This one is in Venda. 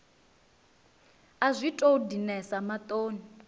a zwi tou dinesa maṱoni